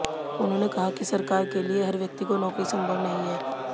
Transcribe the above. उन्होंने कहा कि सरकार के लिये हर व्यक्ति को नौकरी संभव नहीं है